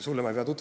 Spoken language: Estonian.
Jõudu tööle!